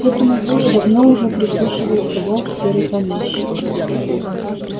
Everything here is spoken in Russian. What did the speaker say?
к этому вою давно уже прислушивается волк серый помещик